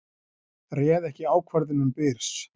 Réð ekki ákvörðunum Byrs